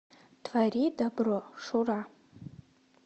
твори добро шура